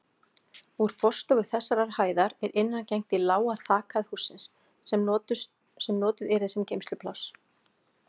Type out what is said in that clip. Úr forstofu þessarar hæðar er innangengt í lága þakhæð hússins, sem notuð yrði sem geymslupláss.